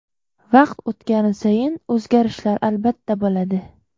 Vaqt o‘tgani sayin o‘zgarishlar albatta bo‘ladi.